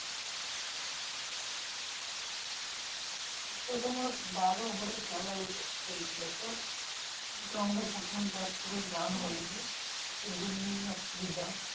ওটা তোমার বারো over এর খেলা হবে হয়েছিল তো। আমরা প্রথমে ব্যাট করে run হয়নি। ওটার জন্যই অসুবিধা।